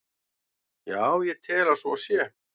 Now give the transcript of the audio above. Já, ég tel að svo sé.